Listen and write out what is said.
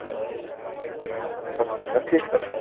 ସଠିକ କଥା